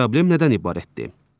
Problem nədən ibarətdir?